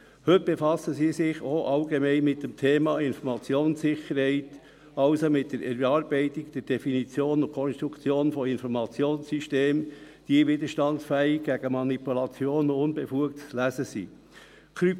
Heute befassen Sie sich auch allgemein mit dem Thema Informationssicherheit, also mit der Erarbeitung der Definition und Konstruktion von Informationssystemen, die widerstandsfähig gegen Manipulation und unbefugtes Lesen sind.